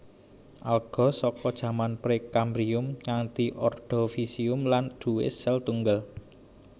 Alga saka jaman Pre kambrium nganti Ordovisium lan duwé sèl tunggal